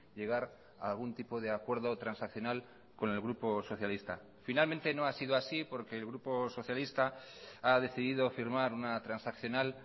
llegar a algún tipo de acuerdo transaccional con el grupo socialista finalmente no ha sido así porque el grupo socialista ha decidido firmar una transaccional